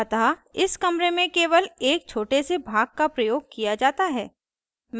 अतः इस कमरे के केवल एक छोटे से भाग का प्रयोग किया जाता है